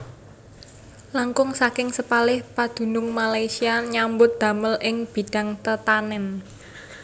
Langkung saking sepalih padunung Malaysia nyambut damel ing bidhang tetanen